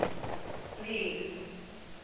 lee's